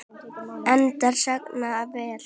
Endar sagan vel?